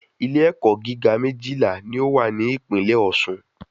Ilé ẹ̀kọ́ gíga méjìlá ní o wà ní ìpínlè Ọ̀ṣun